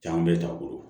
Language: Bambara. Jaa bɛɛ t'a bolo